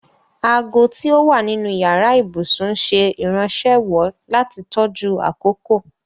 Àagò ti ó wà nínu yara-íbusun ǹṣẹ irànṣéwọ̀ lati tọjú akókò.